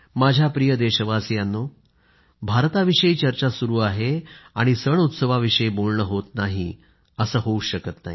माझ्या प्रिय देशवासियांनो भारताविषयी चर्चा सुरू आहे आणि सणउत्सवाविषयी बोलणं होत नाही असं होऊच शकत नाही